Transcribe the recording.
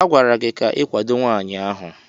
A gwara gị ka ị kwado nwaanyị ahụ!